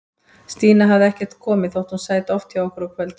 Stína hafði ekkert komið, þótt hún sæti oft hjá okkur á kvöldin.